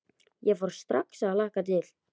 Ég fór strax að hlakka til.